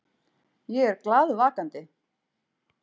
Ég er glaðvakandi.